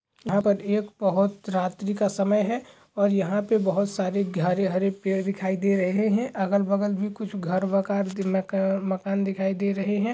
यहां पर एक बहोत रात्री का समय है और यहां पे बहोत सारे हरे भरे पेड़ दिखाई दे रहे हैं। अगल बगल भी कुछ घर मकान दिलका मकान दिखाई दे रहे हैं।